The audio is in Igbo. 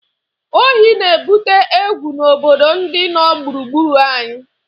Ohí na-ebute egwu n'obodo ndị nọ gburugburu anyị